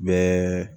Bɛɛ